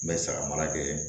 N bɛ saga mara kɛ